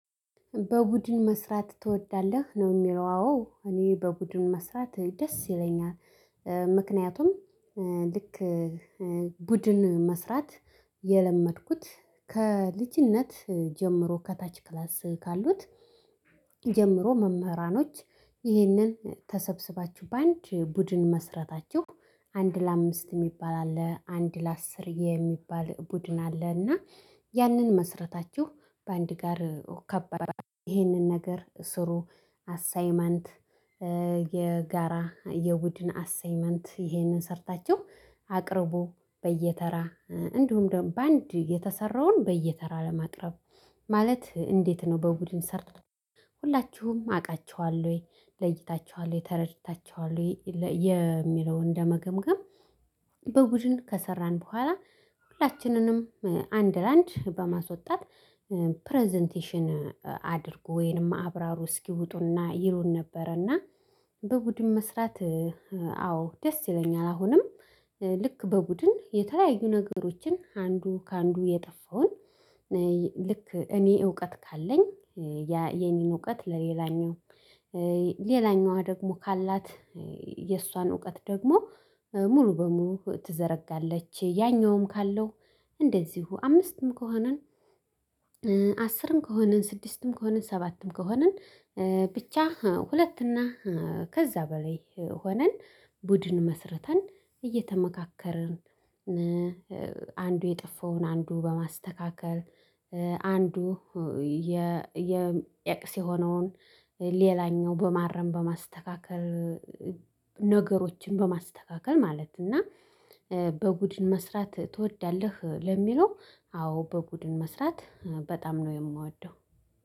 በቡድን መስራት ትወዳለህ? የሚለው አዎ እኔ በቡድን መስራት ደስ ይለኛል ምክንያቱም ልክ ቡድን መስራት የለመድኩት ከልጅነት ጀምሮ ከታች ክላስ ካሉት ጀምሮ መምህራኖች ይህንን ተሰብስባችሁ በአንድ ቡድን መስራታችሁ አንድ ለአምስት የሚባል አለ አንድ ለአስር የሚባል ቡድን አለና ያንን መስረታችሁ በአንድ ጋር ከበራ ይህንን ነገር ስሩ አሳይመንት የጋራ የቡድንን አሳይመንት ይሄንን ሰርታችሁ አቅርቡ በየተራ እንዲሁም ደግሞ በአንድ የተሰራውን በየተራ ማቅረብ ማለት እንዴት ነው በቡድን ሰርቶ ሁላችሁም አውቃቸዋል ወይ፤ ለይታቸኃል ተረድታቸኃል የሚለውን ለመገምገም በቡድን ከሰራን በኋላ ሁላችንንም አንድ ለአንድ በማስወጣት ፕረዘንቴሽን አድርግ ወይንም አብራሩ እስኪውጡና ይሩን ነበረና በቡድን መስራት አዎ ደስ ይለኛል አሁንም ልክ በቡድን የተለያዩ ነገሮችን አንዱ ከአንዱ የጠፋውን ልክ እኔ እውቀት ካለኝ ያ የኔን እውቀት ለሌላኛው ሌላኛዋ ደግሞ ካላት የእሷን እውቀት ደግሞ ሙሉ በሙሉ ትዘረጋለች፤ ያኛውም ካለው እንደዚሁ አምስትም ከሆንን አስርም ከሆንን፤ ስድስትም ከሆንን፤ ሰባትም ከሆንን፤ ብቻ ሁለት እና ከዛ በላይ ሆነን ቡድን መስርተን እየተመካከርን አንዱ የጠፋውን አንዱ በማስተካከል አንዱ ኤክስ የሆነውን ሌላኛው በማረም በማስተካከል ነገሮችን በማስተካከል ማለት እና በቡድን መስራት ትወዳለህ? ለሚለው አዎ በቡድን መስራት በጣም ነው የማወደው